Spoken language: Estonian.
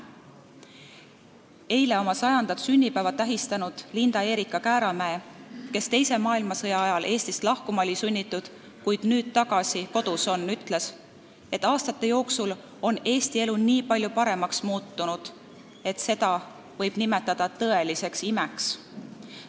Eile oma 100. sünnipäeva tähistanud Linda Erika Kääramees, kes teise maailmasõja ajal oli sunnitud Eestist lahkuma, kuid on nüüd tagasi kodus, ütles, et aastate jooksul on Eesti elu muutunud nii palju paremaks, et seda võib nimetada tõeliseks imeks.